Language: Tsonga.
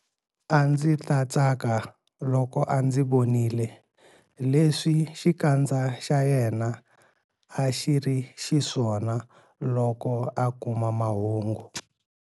A ndzi ta tsaka loko a ndzi vonile leswi xikandza xa yena a xi ri xiswona loko a kuma mahungu.